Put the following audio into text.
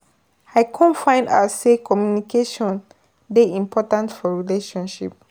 I kom find out sey communication dey important for relationship.